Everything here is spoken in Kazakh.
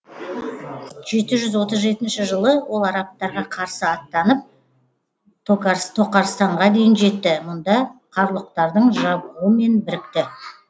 жеті жүз отыз жетінші жылы ол арабтарға қарсы аттанып тоқарстанға дейін жетті мұнда қарлұқтардың жабғуымен бірікті